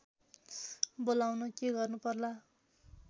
बोलाउन के गर्नु पर्ला